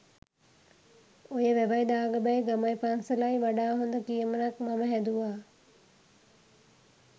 ඔය “වැවයි දාගබයි ගමයි පන්සලයි” වඩා හොඳ කියමනක් මම හැදුවා.